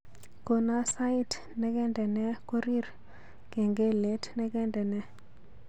Kono sait negendene korir kengelet negendene